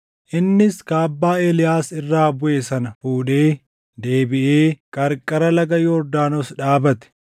Innis kaabbaa Eeliyaas irraa buʼe sana fuudhee deebiʼee qarqara laga Yordaanos dhaabate.